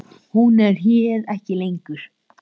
Hún er hér ekki lengur.